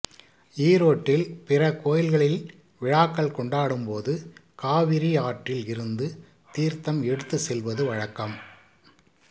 ஈரோட்டில் பிற கோயில்களில் விழாக்கள் கொண்டாடும் போது காவிரி ஆற்றில் இருந்து தீர்த்தம் எடுத்து செல்வது வழக்கம்